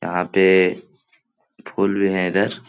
यहाँ पे फूल भी हैं इधर।